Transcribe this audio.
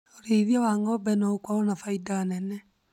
Ũrĩithia wa ng'ombe no ũkorwo na faida nene